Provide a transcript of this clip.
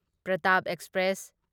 Pratap express